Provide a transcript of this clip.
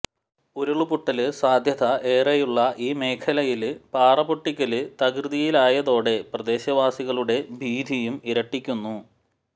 ഉരുള്പൊട്ടല് സാധ്യത ഏറെയുള്ള ഈ മേഖലയില് പാറപൊട്ടിക്കല് തകൃതിയിലായതോടെ പ്രദേശവാസികളുടെ ഭീതിയും ഇരട്ടിക്കുന്നു